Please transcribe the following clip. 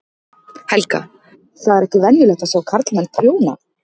Helga: Það er ekki venjulegt að sjá karlmann prjóna?